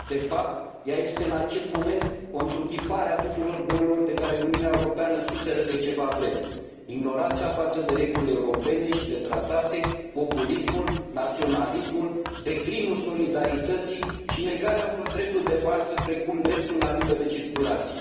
De fapt, ea este în acest moment o întruchipare a tuturor bolilor de care Uniunea Europeană suferă de ceva vreme ignoranța față de regulile europene și de tratate, populismul, naționalismul, declinul solidarității și negarea unor drepturi de bază, precum dreptul la liberă circulație.